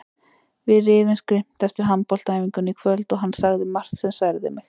Við rifumst grimmt eftir handboltaæfinguna í kvöld og hann sagði margt sem særði mig.